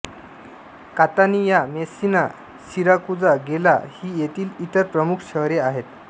Catania Messina Siracusa Gela ही येथील इतर प्रमुख शहर आहेत